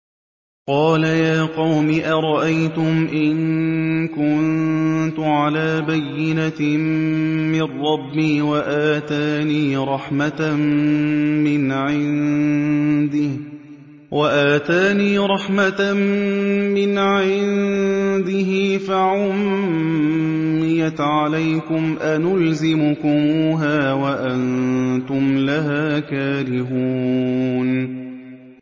قَالَ يَا قَوْمِ أَرَأَيْتُمْ إِن كُنتُ عَلَىٰ بَيِّنَةٍ مِّن رَّبِّي وَآتَانِي رَحْمَةً مِّنْ عِندِهِ فَعُمِّيَتْ عَلَيْكُمْ أَنُلْزِمُكُمُوهَا وَأَنتُمْ لَهَا كَارِهُونَ